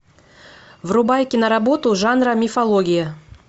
врубай киноработу жанра мифология